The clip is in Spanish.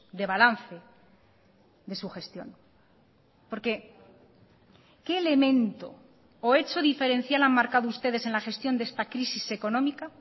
de balance de sugestión porque qué elemento o hecho diferencial han marcado ustedes en la gestión de esta crisis económica